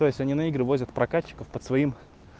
то есть они на игры возят прокатчиков под своим